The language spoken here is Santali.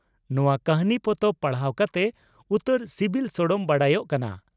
ᱱᱚᱣᱟ ᱠᱟᱹᱦᱱᱤ ᱯᱚᱛᱚᱵ ᱯᱟᱲᱦᱟᱣ ᱠᱟᱛᱮ ᱩᱛᱟᱹᱨ ᱥᱤᱵᱤᱞ ᱥᱚᱲᱚᱢ ᱵᱟᱰᱟᱭᱚᱜ ᱠᱟᱱᱟ ᱾